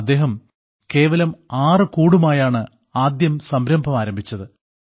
അദ്ദേഹം കേവലം ആറ് കൂടുമായാണ് ആദ്യം സംരംഭം ആരംഭിച്ചത്